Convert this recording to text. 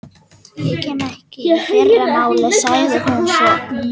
Ég kemst ekki í fyrramálið, sagði hún svo.